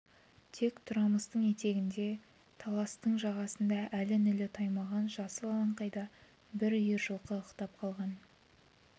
тек-тұрмастың етегінде таластың жағасында әлі нілі таймаған жасыл алаңқайда бір үйір жылқы ықтап қалған